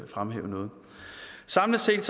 fremhæve noget samlet set